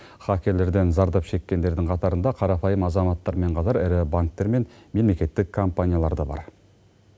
хакерлерден зардап шеккендердің қатарында қарапайым азаматтармен қатар ірі банктер мен мемлекеттік компаниялар да бар